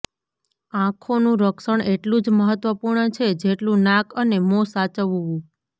આંખોનું રક્ષણ એટલું જ મહત્વપૂર્ણ છે જેટલું નાક અને મોં સાચવવું